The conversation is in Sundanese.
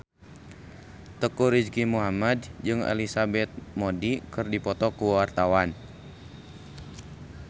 Teuku Rizky Muhammad jeung Elizabeth Moody keur dipoto ku wartawan